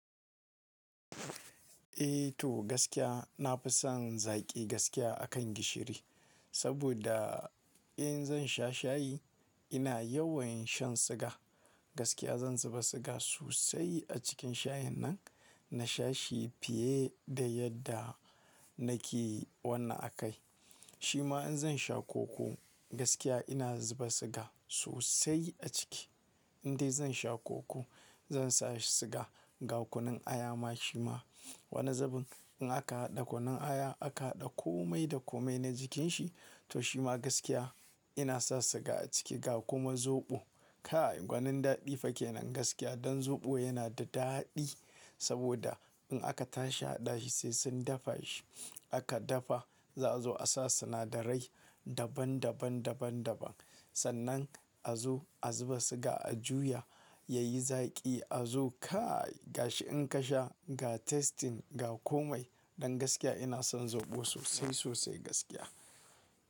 Eh to gaskiya na fi son zaƙi gaskiya akan gishiri. Saboda in zan sha shayi ina yawan shan siga. Gaskiya zan zuba siga sosai a cikin shayin nan, na sha shi fiye da yadda nake wannan a kai. Shima in zan sha koko gaskiya ina zuba siga sosai a ciki. Indai zan sha koko zan sa siga, ga kunun aya ma shima. Wani zubin in aka haɗa kunun aya aka haɗa komai da komai na jikin shi to shima gaskiya ina sa siga a ciki ga kuma zoɓo. Kai gwanin daɗi fa kenan gaskiya. Dan zoɓo yana da daɗi saboda in aka tashi hadashi sai sun dafa shi. Aka dafa za zu a sa sinadarai daban daban, daban daban. Sannan a zo a zuba siga a juya yayi zaƙi a zo kai gashi in ka sha ga tasting ga komai. Dan gaskiya ina son zoɓo sosai sosai gaskiya.